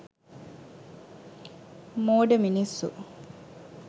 මෝඩ මිනිස්සු